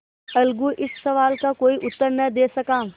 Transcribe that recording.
अलगू इस सवाल का कोई उत्तर न दे सका